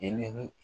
Eee